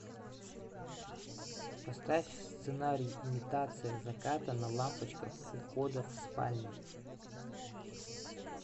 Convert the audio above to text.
поставь сценарий имитация заката на лампочках у входа в спальне